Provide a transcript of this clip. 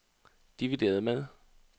divideret med